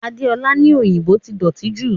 Adeola ní òyìnbó ti dọ̀tí jù